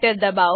દબાઓ